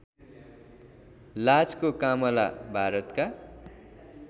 लाजको कामला भारतका